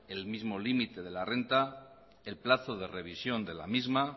el mismo límite de la renta el plazo de revisión de la misma